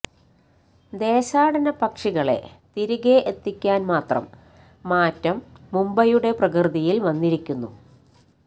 ദേശാടന പക്ഷികളെ തിരികെ എത്തിക്കാന് മാത്രം മാറ്റം മുംബൈയുടെ പ്രകൃതിയില് വന്നിരിക്കുന്നു